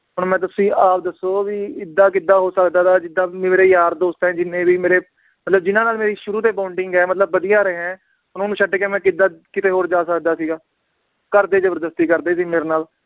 ਹੁਣ ਮੈ ਤੁਸੀਂ ਆਪ ਦੱਸੋ ਵੀ ਏਦਾਂ ਕਿਦਾਂ ਹੋ ਸਕਦਾ ਵਾ ਜਿਦਾਂ ਮੇਰੇ ਯਾਰ ਦੋਸਤ ਆ ਜਿੰਨੇ ਵੀ ਮੇਰੇ ਮਤਲਬ ਜਿਨਾਂ ਨਾਲ ਮੇਰੀ ਸ਼ੁਰੂ ਤੋਂ ਹੀ bonding ਏ ਮਤਲਬ ਵਧੀਆ ਰਿਹਾ ਏ ਉਹਨਾਂ ਨੂੰ ਛੱਡ ਕੇ ਮੈ ਕਿਦਾਂ ਕਿਤੇ ਹੋਰ ਜਾ ਸਕਦਾ ਸੀਗਾ, ਘਰਦੇ ਜ਼ਬਰਦਸਤੀ ਕਰਦੇ ਸੀ ਮੇਰੇ ਨਾਲ